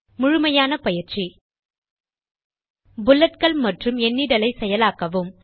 முழுமையான பயிற்சி புல்லட்கள் மற்றும் எண்ணிடலை செயலாக்கவும்